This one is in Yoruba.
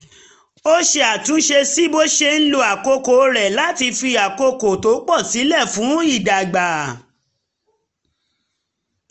ó ṣe àtúnṣe sí bó ṣe ń lo àkókò rẹ̀ láti fi àkókò tó pọ̀ sílẹ̀ fún ìdàgbà